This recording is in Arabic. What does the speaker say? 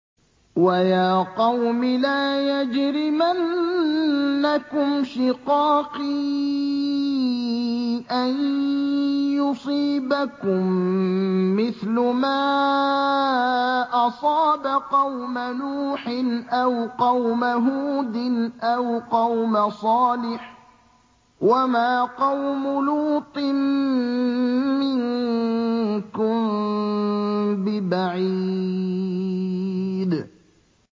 وَيَا قَوْمِ لَا يَجْرِمَنَّكُمْ شِقَاقِي أَن يُصِيبَكُم مِّثْلُ مَا أَصَابَ قَوْمَ نُوحٍ أَوْ قَوْمَ هُودٍ أَوْ قَوْمَ صَالِحٍ ۚ وَمَا قَوْمُ لُوطٍ مِّنكُم بِبَعِيدٍ